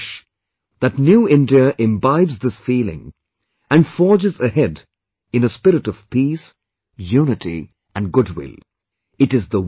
It is my hope and wish that New India imbibes this feeling and forges ahead in a spirit of peace, unity and goodwill